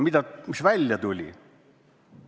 Aga mis välja tuli?